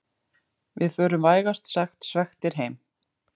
Við förum vægast sagt svekktir heim